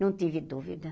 Não tive dúvida.